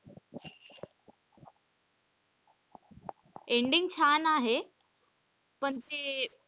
Ending छान आहे पण ते,